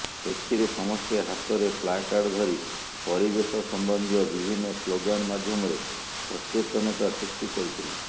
ଏଥିରେ ସମସ୍ତେ ହାତରେ ପ୍ଳାକାର୍ଡ ଧରି ପରିବେଶ ସମ୍ବନ୍ଧୀୟ ବିଭିନ୍ନ ସ୍ଳୋଗାନ ମାଧ୍ୟମରେ ସଚେତନତା ସୃଷ୍ଟି କରିଥିଲେ